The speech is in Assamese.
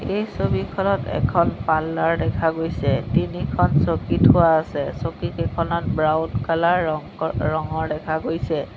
এই ছবিখনত এখন পাৰ্লাৰ দেখা গৈছে তিনিখন চকী থোৱা আছে চকীকিখনত ব্ৰাউন কালাৰ ৰং ক ৰঙৰ দেখা গৈছে।